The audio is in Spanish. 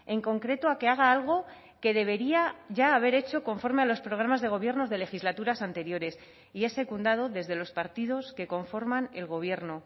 en concreto a que haga algo que debería ya haber hecho conforme a los programas de gobiernos de legislaturas anteriores y es secundado desde los partidos que conforman el gobierno